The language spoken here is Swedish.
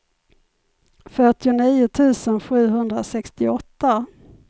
fyrtionio tusen sjuhundrasextioåtta